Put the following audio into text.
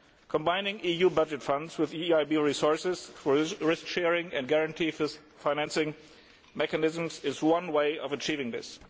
Combining EU budget funds with EIB resources, risk sharing and guarantees for financing mechanisms is one way of achieving this.